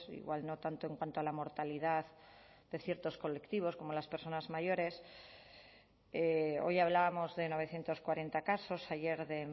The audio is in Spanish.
igual no tanto en cuanto a la mortalidad de ciertos colectivos como las personas mayores hoy hablábamos de novecientos cuarenta casos ayer de